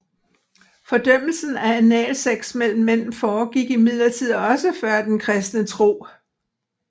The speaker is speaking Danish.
Fordømmelsen af analsex mellem mænd foregik imidlertid også før den kristne tro